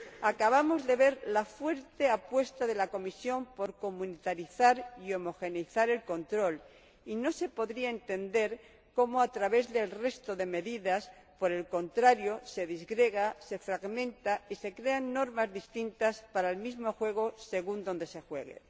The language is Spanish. Acabamos de ver la fuerte apuesta de la Comisión por comunitarizar y homogeneizar el control y no se podría entender cómo, a través del resto de medidas, por el contrario, se disgrega, se fragmenta y se crean normas distintas para el mismo juego según dónde se juegue.